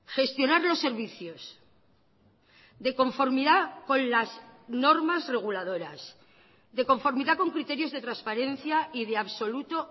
gestionar los servicios de conformidad con las normas reguladoras de conformidad con criterios de transparencia y de absoluto